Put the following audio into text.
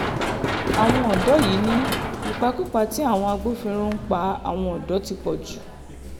àwọn ọ̀dọ́ yìí ni ìpakúpa tí àwọn agbófinró náà ń pa àwọn ọ̀dọ́ ti pọ̀ jù